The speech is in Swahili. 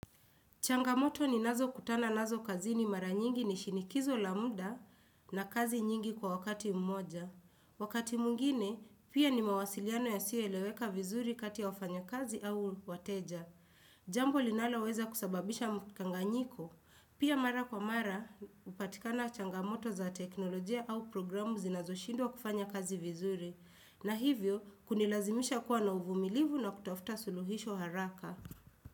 Changamoto ninazo kutana nazo kazini mara nyingi ni shinikizo la muda na kazi nyingi kwa wakati mmoja. Wakati mwingine, pia ni mawasiliano yasiyo eleweka vizuri kati ya wafanya kazi au wateja. Jambo linalo weza kusababisha mkanganyiko, pia mara kwa mara upatikana changamoto za teknolojia au programu zinazoshindwa kufanya kazi vizuri. Na hivyo, kunilazimisha kuwa na uvumilivu na kutafuta suluhisho haraka.